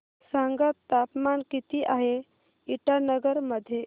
सांगा तापमान किती आहे इटानगर मध्ये